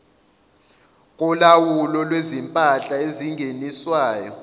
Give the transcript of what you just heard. kolawulo lwezimpahla ezingeniswayo